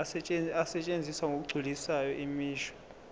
asetshenziswa ngokugculisayo imisho